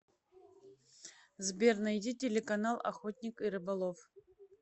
сбер найди телеканал охотник и рыболов